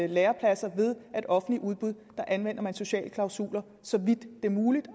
lærepladser ved at offentlige udbud anvender sociale klausuler så vidt det er muligt